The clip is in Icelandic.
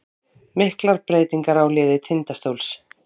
Miklar breytingar á liði Tindastóls